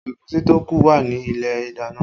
Ẹ̀gúsí tó kù wà ní ilé ìdáná